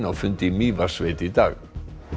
á fundi í Mývatnssveit í dag